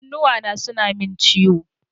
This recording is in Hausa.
Kunnuwana suna min ciwo.